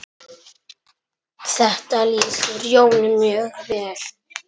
Sé þig síðar, kæri.